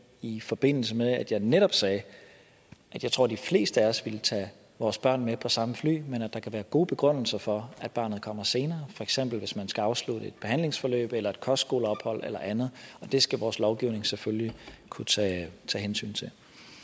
i forbindelse med at jeg netop sagde at jeg tror at de fleste af os ville tage vores børn med på samme fly men at der kan være gode begrundelser for at barnet kommer senere for eksempel hvis man skal afslutte et behandlingsforløb eller et kostskoleophold eller andet og det skal vores lovgivning selvfølgelig kunne tage hensyn til